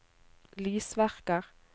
lysverker